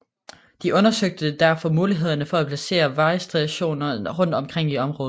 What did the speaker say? De undersøgte derfor mulighederne for at placere vejrstationer rundt omkring i området